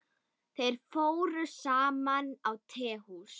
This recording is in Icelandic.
Þeir fóru saman á tehús.